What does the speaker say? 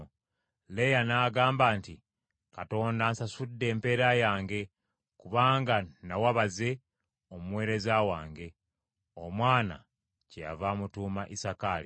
Leeya n’agamba nti, “Katonda ansasudde empeera yange, kubanga nawa baze, omuweereza wange,” omwana kyeyava amutuuma Isakaali.